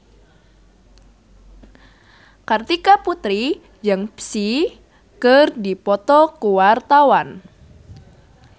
Kartika Putri jeung Psy keur dipoto ku wartawan